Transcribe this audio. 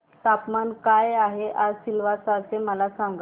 तापमान काय आहे आज सिलवासा चे मला सांगा